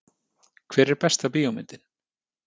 Hver er besta bíómyndin?